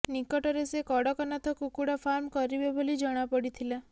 ନିକଟରେ ସେ କଡ଼କନାଥ କୁକୁଡ଼ା ଫାର୍ମ କରିବେ ବୋଲି ଜଣାପଡ଼ିଥିଲା